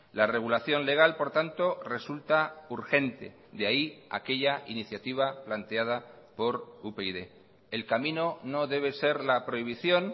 la regulación legal por tanto resulta urgente de ahí aquella iniciativa planteada por upyd el camino no debe ser la prohibición